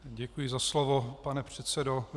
Děkuji za slovo, pane předsedo.